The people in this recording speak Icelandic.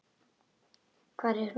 Hvar er hún þá?